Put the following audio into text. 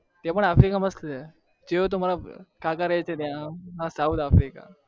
africa માં મારા કાકા રે છે south africa માં